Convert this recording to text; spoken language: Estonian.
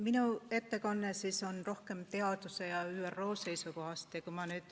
Minu ettekanne on rohkem teaduse ja ÜRO seisukohast.